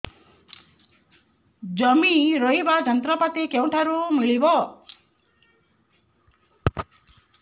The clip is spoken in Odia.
ଜମି ରୋଇବା ଯନ୍ତ୍ରପାତି କେଉଁଠାରୁ ମିଳିବ